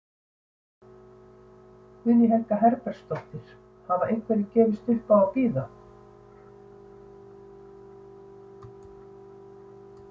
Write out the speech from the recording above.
Guðný Helga Herbertsdóttir: Hafa einhverjir gefist upp á að bíða?